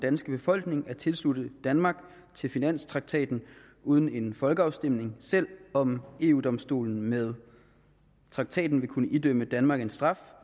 danske befolkning at tilslutte danmark til finanstraktaten uden en folkeafstemning selv om eu domstolen med traktaten vil kunne idømme danmark en straf